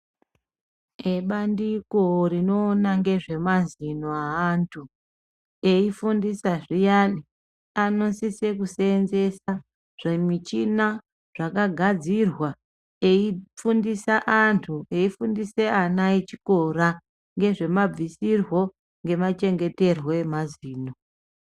Ebandiko rinoona ngezvemazino eantu eifundisa zviyani anosisa kuseenzesa zvimichini zvakagadzirwa eifundisa antu eifundisa ana echikora ngezvemabvisirwo nemachengeterwo emazino.